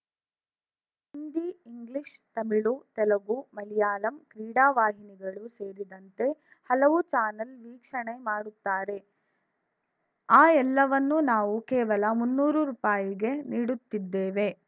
Hindi English Tamil Telugu Malayalam ಕ್ರೀಡಾ ವಾಹಿನಿಗಳು ಸೇರಿದಂತೆ ಹಲವು ಚಾನಲ್‌ ವೀಕ್ಷಣೆ ಮಾಡುತ್ತಾರೆ ಆ ಎಲ್ಲವನ್ನೂ ನಾವು ಕೇವಲ ಮುನ್ನೂರು ರುಪಾಯಿಗೆ ನೀಡುತ್ತಿದ್ದೇವೆ